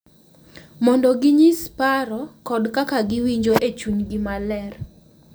Mondo ginyis paro kod kaka giwinjo e chunygi maler, .